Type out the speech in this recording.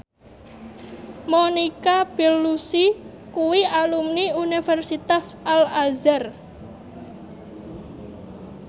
Monica Belluci kuwi alumni Universitas Al Azhar